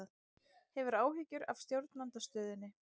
Hefur áhyggjur af stjórnarandstöðunni